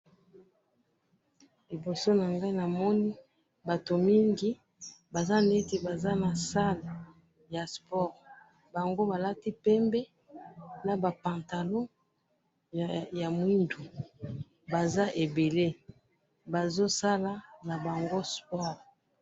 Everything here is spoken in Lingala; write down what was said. Awa na moni batu ebele na kati ya salle ba lati pembe na mwindo bazali ko sala na bango sport.